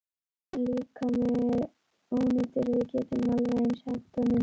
Dáinn líkami er ónýtur, við getum alveg eins hent honum.